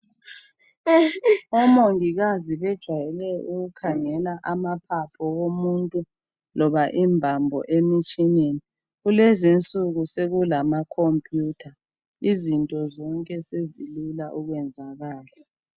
Omongikazi bajwayele ukukhangela amaphaphu womuntu loba imbambo emitshineni. Kulezinsuku sekulamakombiyuta. Izinto zonke sezilula ukwenzakala.